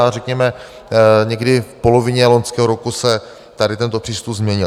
a řekněme, někdy v polovině loňského roku se tady tento přístup změnil.